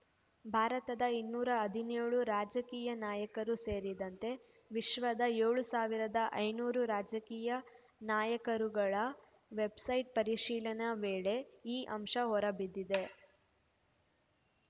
ಭಾರತದ ಇನ್ನೂರ ಹದಿನ್ಯೋಳು ರಾಜಕೀಯ ನಾಯಕರೂ ಸೇರಿದಂತೆ ವಿಶ್ವದ ಏಳ್ ಸಾವಿರದ ಐನೂರು ರಾಜಕೀಯ ನಾಯಕರುಗಳ ವೆಬ್‌ಸೈಟ್ ಪರಿಶೀಲನೆ ವೇಳೆ ಈ ಅಂಶ ಹೊರ ಬಿದ್ದಿದೆ